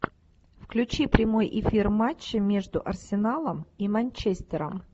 включи прямой эфир матча между арсеналом и манчестером